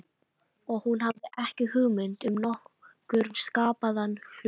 Og hún hafði ekki hugmynd um nokkurn skapaðan hlut.